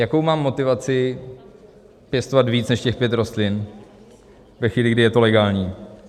Jakou mám motivaci pěstovat víc než těch pět rostlin ve chvíli, kdy je to legální?